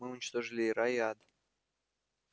мы уничтожили и рай и ад